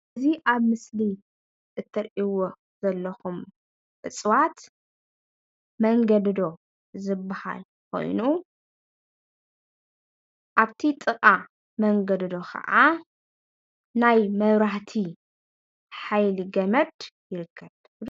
እዚ ኣብ ምስሊ እትሪእው ዘለኹም እፅዋት መንገዶዶ ዝበሃል ኾይኑ ኣብፍቲ ጥቃ መንገዶዶ ኸዓ ናይ መብራህቲ ሓይሊ ገመድ ይርከብ